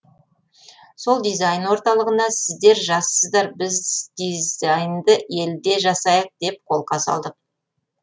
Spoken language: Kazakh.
сол дизайн орталығына сіздер жассыздар біз дизайнды елде жасайық деп қолқа салдық